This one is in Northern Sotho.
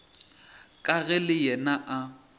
ka ge le yena a